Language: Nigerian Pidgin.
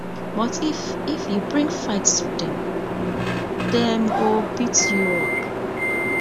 but if if you bring fight to dem dem go beat you up